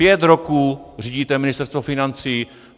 Pět roků řídíte Ministerstvo financí.